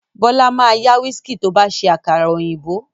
Bọ́lá ma yá wíìskì tó bá fẹ́ ṣe àkàrà òyìnbó